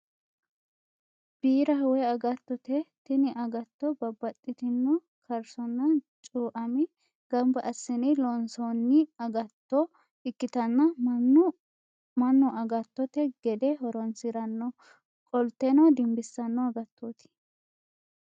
Biiraho woy agattote. Tini agatto babbaxitino kaarsonna cuu'amme gamba assine loonsoonni agatto ikkitanna mannu agattote gede horoonsiranno qolteno dimbissanno agattoiti.